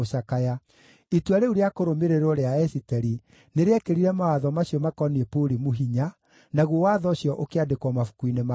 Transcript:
Itua rĩu rĩa kũrũmĩrĩrwo rĩa Esiteri nĩrĩekĩrire mawatho macio maakoniĩ Purimu hinya, naguo watho ũcio ũkĩandĩkwo mabuku-inĩ ma kĩririkano.